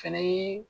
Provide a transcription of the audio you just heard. Fɛnɛ ye